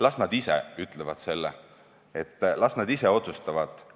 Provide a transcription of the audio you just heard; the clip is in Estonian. Las nad ise ütlevad seda, las nad ise otsustavad.